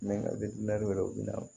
Mɛ wɛrɛw bɛ na